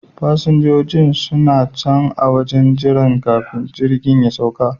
Fasinjojin suna can a wajen jira kafin jirgin ya sauka